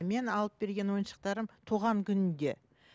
мен алып берген ойыншықтарым туған күнінде